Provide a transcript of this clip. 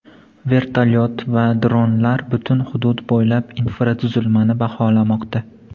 Vertolyot va dronlar butun hudud bo‘ylab infratuzilmani baholamoqda.